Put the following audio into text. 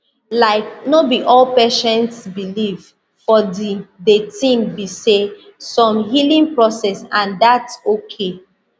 laik no bi all patients believe for di de tin be say same healing process and thats okay